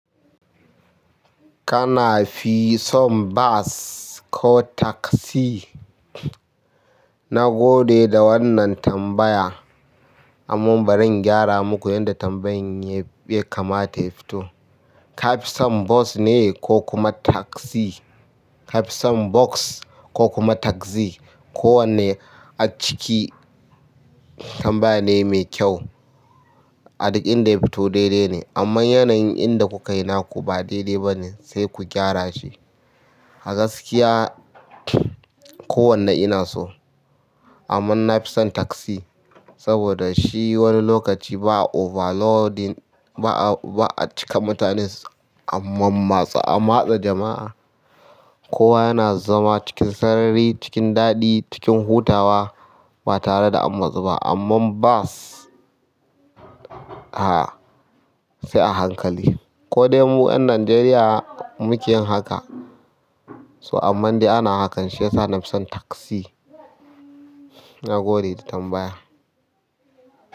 Kana fi son bas ko taksi? Na gode da wannan tambaya, amma bari in gyara muku yanda tambayan ya kamata ya fito. Ka fi son bus ne ko kuma taksi? Kafi son bus ko kuma taksi ko wanne a ciki tambaya ne mai kyau. A duk inda ya fito daidai ne, amma yanayin inda kukai na ku ba daidai ba ne, sai ku gyara shi. A gaskiya, kowanna ina so. Amman na fi son taksi saboda shi wani lokaci ba overloading, ba a cika mutane, amma matse jama'a. Kowa yana zama cikin sarari, cikin daɗi, cikin hutawa ba tare da an matsu ba. Amma bas, a'a, sai a hankali. Ko dai mu 'yan Najeriya muke yin haka, so amma dai ana hakan. Shi yasa na fi san taksi. Na gode da tambaya.